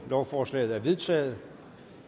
lovforslaget er vedtaget